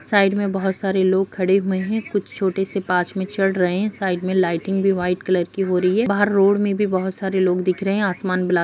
side में बहोत सारे लोग खड़े हुए हैं कुछ छोटे से पाच में चढ़ रहे हैं साइड में लाइटिंग भी वाइट कलर की हो रही है बाहर रोड में भी बहोत सारे लोग दिख रहे हैं आसमान बला --